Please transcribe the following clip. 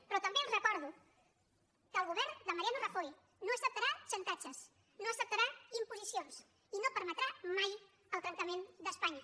però també els recordo que el govern de mariano rajoy no acceptarà xantatges no acceptarà imposicions i no permetrà mai el trencament d’espanya